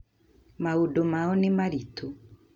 Maũndũ mao nĩ maritũ